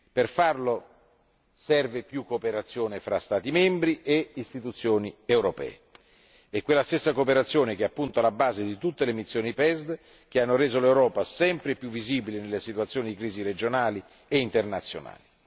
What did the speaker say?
Per farlo serve più cooperazione fra Stati membri e Istituzioni europee, quella stessa cooperazione che appunto è alla base di tutte le missioni PESD che hanno reso l'Europa sempre più visibile nelle situazioni di crisi regionali e internazionali.